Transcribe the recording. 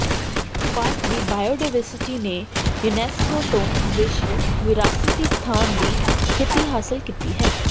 park ਦੀ biodiversity ਨੇ UNESCO ਤੋਂ ਵਿਸ਼ਵ ਵਿਰਾਸਤੀ ਸਥਾਨ ਦੀ ਸਥਿਤੀ ਹਾਸਲ ਕੀਤੀ ਹੈ